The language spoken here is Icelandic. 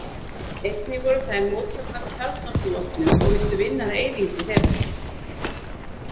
Einnig voru þær mótfallnar kjarnorkuvopnum og vildu vinna að eyðingu þeirra.